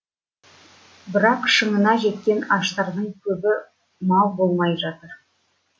бірақ шыңына жеткен аштардың көбі мал болмай жатыр